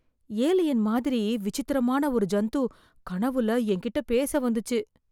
alien மாதிரி விசித்திரமான ஒரு ஜந்து, கனவுல என்கிட்ட பேச வந்துச்சு...